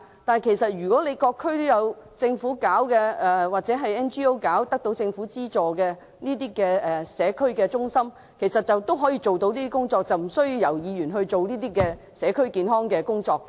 不過，政府的社區中心或獲政府資助由非牟利機構營運的社區中心其實也可以做到上述工作，無需由議員推行社區健康工作。